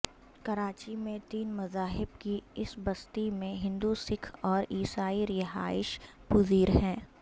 کراچی میں تین مذاہب کی اس بستی میں ہندو سکھ اور عیسائی رہائش پذیر ہیں